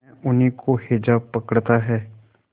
न उन्हीं को हैजा पकड़ता है